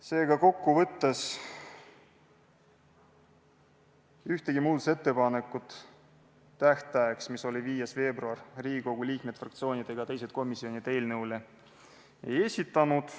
Seega, kokku võttes ühtegi muudatusettepanekut tähtajaks, mis oli 5. veebruar, Riigikogu liikmed, fraktsioonid ega teised komisjonid eelnõu kohta ei esitanud.